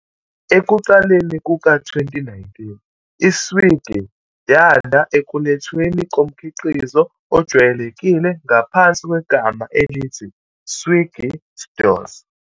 Ekuqaleni kuka-2019, i-Swiggy yanda ekulethweni komkhiqizo ojwayelekile ngaphansi kwegama elithi Swiggy Stores.